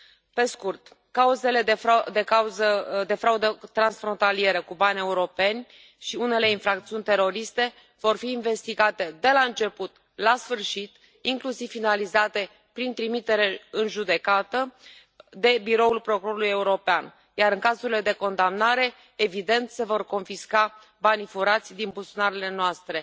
Pe scurt, cauzele de fraudă transfrontalieră cu bani europeni și unele infracțiuni teroriste vor fi investigate de la început la sfârșit, inclusiv finalizate prin trimitere în judecată, de Biroul procurorului european, iar, în cazurile de condamnare, evident, se vor confisca banii furați din buzunarele noastre.